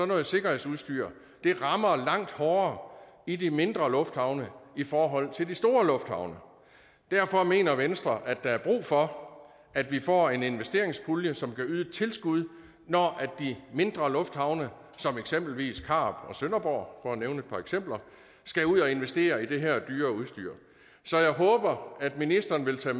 noget sikkerhedsudstyr rammer langt hårdere i de mindre lufthavne i forhold til i de store lufthavne derfor mener venstre at der er brug for at vi får en investeringspulje som kan yde et tilskud når de mindre lufthavne som eksempelvis karup og sønderborg for at nævne et par eksempler skal ud at investere i det her dyre udstyr så jeg håber at ministeren vil tage